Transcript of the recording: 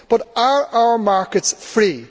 But are our markets free?